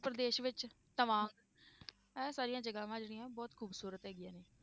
ਪ੍ਰਦੇਸ਼ ਵਿੱਚ ਤਮਾਂਗ ਇਹ ਸਾਰੀਆਂ ਜਗ੍ਹਾਵਾਂ ਜਿਹੜੀਆਂ ਬਹੁਤ ਖ਼ੂਬਸ਼ੂਰਤ ਹੈਗੀਆਂ ਨੇ।